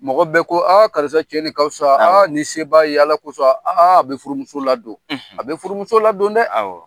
Mɔgɔ bɛɛ ko aa karisa cɛ nin ka fisa aa ni seb'a ye ala kosɔn aa a bɛ furumuso ladon a bɛ furumuso ladon dɛ awɔ